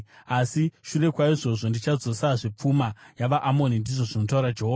“Asi shure kwaizvozvo, ndichadzosazve pfuma yavaAmoni,” ndizvo zvinotaura Jehovha.